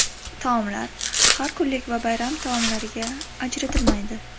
Taomlar har kunlik va bayram taomlariga ajratilmaydi.